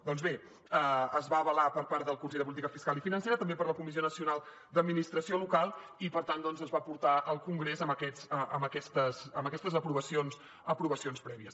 doncs bé es va avalar per part del consell de política fiscal i financera també per la comissió nacional d’administració local i per tant doncs es va portar al congrés amb aquestes aprovacions prèvies